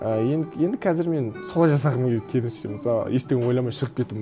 і енді енді қазір мен солай жасағым келеді келесі жолы мысалы ештеңе ойламай шығып кету